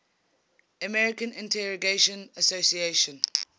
american integration association